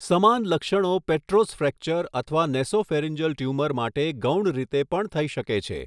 સમાન લક્ષણો petrous fracture અથવા નેસોફેરિંજલ ટ્યુમર માટે ગૌણ રીતે પણ થઈ શકે છે.